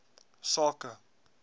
sake